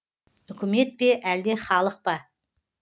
үкімет пе әлде халық па